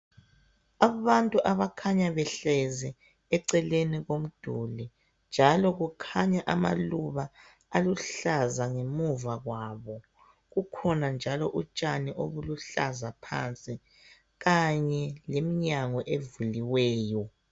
Abantu abakhanya behlezi ecelen komduli njalo kukhanya amaluba aluhlaza ngemuva kwabo kukhona njalo utshani obuluhlaza ngaphansi kanye leminyango evuliweyo